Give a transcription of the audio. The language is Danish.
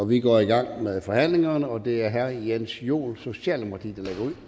vi går i gang med forhandlingerne og det er herre jens joel socialdemokratiet